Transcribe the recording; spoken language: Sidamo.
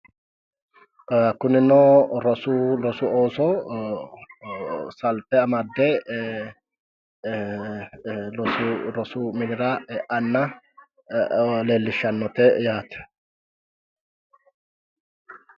Kunino rosu rosu ooso salfe amadde rosu minira eanna leellishshannote yaate.